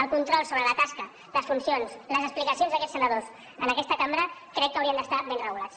el control sobre la tasca les funcions les explicacions d’aquests senadors en aquesta cambra crec que haurien d’estar ben regulats